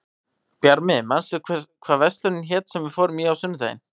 Bjarmi, manstu hvað verslunin hét sem við fórum í á sunnudaginn?